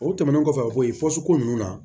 O tɛmɛnen kɔfɛ bo yen ko ninnu na